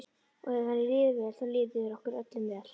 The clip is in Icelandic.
Og ef henni líður vel þá líður okkur öllum vel.